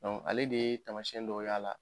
Ale de ye taamasiyɛn dɔw y'a la